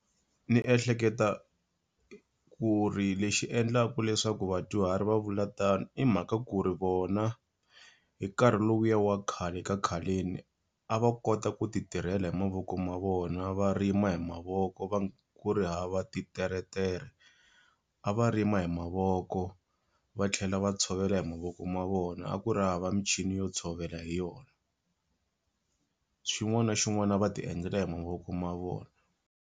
Ndzi ehleketa ku ri lexi endlaka leswaku vadyuhari va vula tano i mhaka ku ri vona, hi nkarhi lowu ya wa khale ka khaleni a va kota ku ti tirhela hi mavoko ma vona, va rima hi mavoko, ku ri hava titeretere. A va rima hi mavoko, va tlhela va tshovela hi mavoko ma vona. A ku ri hava michini yo tshovela hi yona. Xin'wana na xin'wana a va ti endlela hi mavoko ma vona.